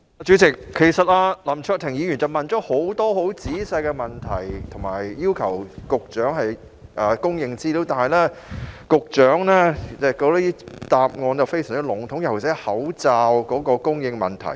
主席，其實林卓廷議員提出了許多很仔細的問題，並要求局長提供資料，但局長的答覆卻非常籠統，尤其是關於口罩供應的問題。